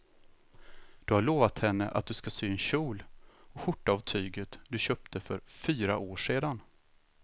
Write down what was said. Du har lovat henne att du ska sy en kjol och skjorta av tyget du köpte för fyra år sedan.